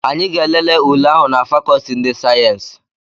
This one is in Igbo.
Anyị ga-elele ule ahụ na fakọọti ndị sayensị.